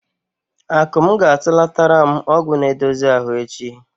Akụm ga-atụlatara m ọgwụ na-edozi ahụ echi.